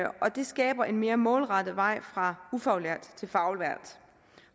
og det skaber en mere målrettet vej fra ufaglært til faglært